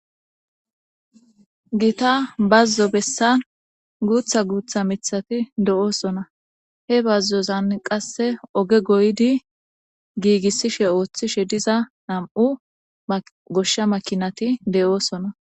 Gita bazzo bessan guutha guutha mithati do'oosona he bazzozan qasse oge goydi giigissishe ooththishe diza nam'u goshsha makinati de'oosona.